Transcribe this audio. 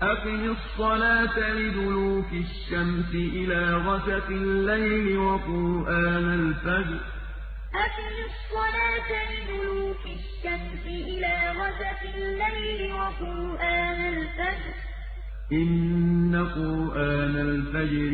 أَقِمِ الصَّلَاةَ لِدُلُوكِ الشَّمْسِ إِلَىٰ غَسَقِ اللَّيْلِ وَقُرْآنَ الْفَجْرِ ۖ إِنَّ قُرْآنَ الْفَجْرِ كَانَ مَشْهُودًا أَقِمِ الصَّلَاةَ لِدُلُوكِ الشَّمْسِ إِلَىٰ غَسَقِ اللَّيْلِ وَقُرْآنَ الْفَجْرِ ۖ إِنَّ قُرْآنَ الْفَجْرِ